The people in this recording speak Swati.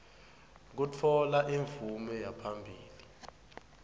kutfola imvume yaphambilini